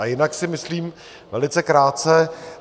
A jinak si myslím - velice krátce.